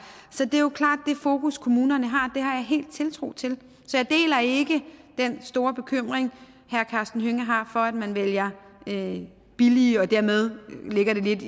så det er jo klart det fokus kommunerne har det har jeg helt tiltro til så jeg deler ikke den store bekymring herre karsten hønge har for at man vælger billige billige og dermed ligger det lidt